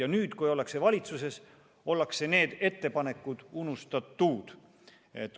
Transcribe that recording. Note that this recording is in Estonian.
Aga nüüd, kui ollakse valitsuses, ollakse need ettepanekud unustanud.